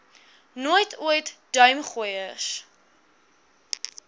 nooit ooit duimgooiers